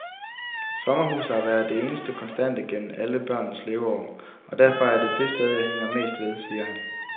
Sommerhuset har været det eneste konstante gennem alle børnenes leveår, og derfor er det det sted, jeg hænger mest ved, siger han.